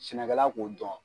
Sɛnɛkɛla k'o dɔn.